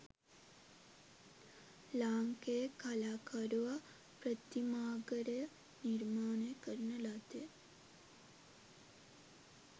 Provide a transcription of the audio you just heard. ලාංකේය කලාකරුවා ප්‍රතිමාඝරය නිර්මාණය කරන ලද්දේ